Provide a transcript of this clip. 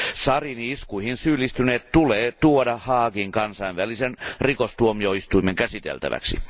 Sariini iskuihin syyllistyneet tulee tuoda Haagin kansainvälisen rikostuomioistuimen käsiteltäväksi.